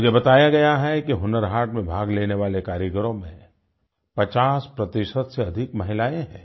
मुझे बताया गया है कि हुनर हाट में भाग लेने वाले कारीगरों में पचास प्रतिशत से अधिक महिलाएँ हैं